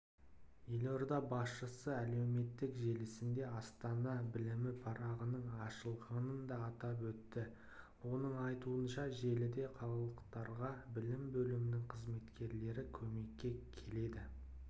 елорда басшысы әлеуметтік желісінде астана білімі парағының ашылғанын да атап өтті оның айтуынша желіде қалалықтарға білім бөлімінің қызметкерлері көмекке келеді